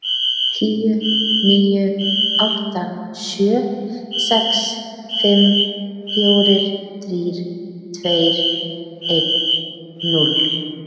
Tíu, níu, átta, sjö, sex, fimm, fjórir, þrír, tveir, einn, núll.